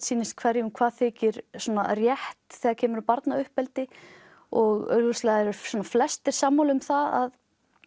sýnist hverjum hvað þykir rétt þegar kemur að barnauppeldi og augljóslega eru flestir sammála um það að